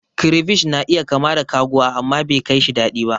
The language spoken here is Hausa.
Crayfish na iya kama da kaguwa, amma bekaishi daɗi ba.